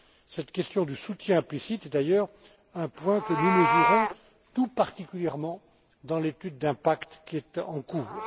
Cette question du soutien implicite est d'ailleurs un point que nous mesurons tout particulièrement dans l'étude d'impact en cours.